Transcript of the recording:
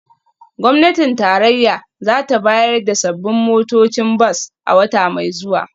Gwamnatin tarayya za ta bayar da sabbin motocin bas a wata mai zuwa